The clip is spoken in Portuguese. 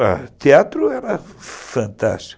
O teatro era fantástico.